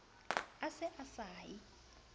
a se a sa ye